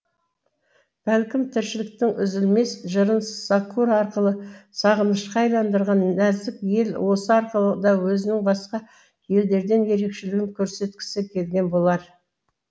бәлкім тіршіліктің үзілмес жырын сакура арқылы сағынышқа айналдырған нәзік ел осы арқылы да өзінің басқа елдерден ерекшелігін көрсеткісі келген болар